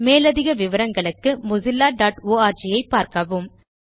மேலதிக விபரங்களுக்கு mozillaஆர்க் ஐ பார்க்கவும்